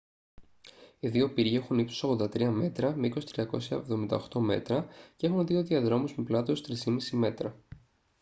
οι δύο πύργοι έχουν ύψος 83 μέτρα μήκος 378 μέτρα και έχουν δύο διαδρόμους με πλάτος 3.50 μέτρα